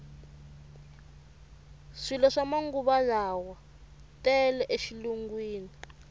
swilo swa manguvalawa tele e xilungwini